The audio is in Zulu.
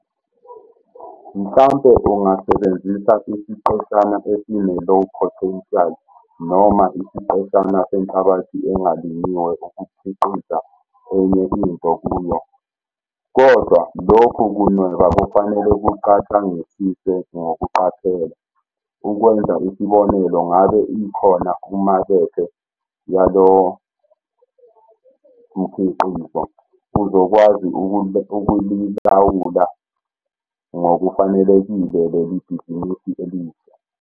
Mhlampe ungasebenzisa isiqeshana esine-low potential noma isiqeshana senhlabathi engalinyiwe ukukhiqiza enye into kuyo. Kodwa, lokhu kunweba kufanele kucatshangisiswe ngokuqaphela - ukwenza isibonelo ngabe ikhona umakethe yalowo mkhiqizo? Uzokwazi ukulilawula ngokufanelekile leli bhizinisi elisha?